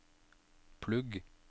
plugg